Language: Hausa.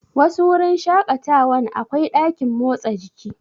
Wasu wurin shaƙatawan akwai ɗakin motsa jiki.